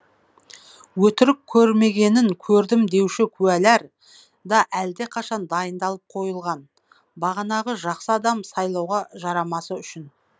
өтірік көрмегенін көрдім деуші куәлер да әлдеқашан дайындалып қойылған бағанағы жақсы адам сайлауға жарамасы үшін